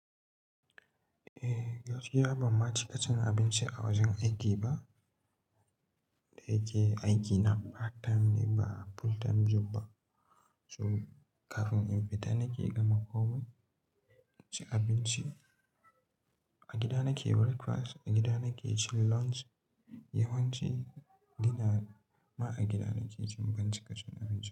Eh, gaskiya ban ma ci ka cin abinci a wajen aiki ba. Da yake aikina part time ne ba full time job ba. So kafin in fita nake gama komai, ci abinci. A gida nake breakfast, a gida nake cin lunch. Yawanci, gida ma a gida nake cin bincike cin abinci.